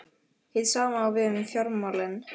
Hið sama á við um fjármálin.